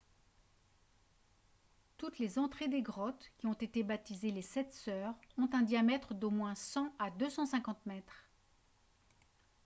toutes les entrées des grottes qui ont été baptisées « les sept sœurs » ont un diamètre d’au moins 100 à 250 mètres